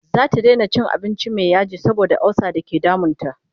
zata Daina cin abinci Mai yaji saboda ulsa da ke damun ta